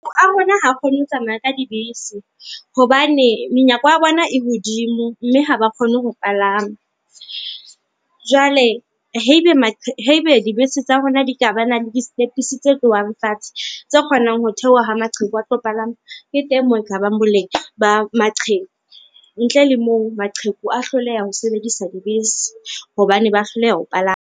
A rona ha kgone ho tsamaya ka dibese hobane menyako ya bona e hodimo mme ha ba kgone ho palama. Jwale haebe dibese tsa rona di ka ba na le di setepisi tse tlohang fatshe, tse kgonang ho theoha ha maqheku a tlo palama, ke teng moo ekabang boleng ba maqheku. Ntle le moo maqheku a hloleha ho sebedisa dibese hobane ba hloleha ho palama.